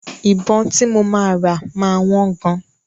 Ìbọn tí mo máa rà máa wọ́n gan.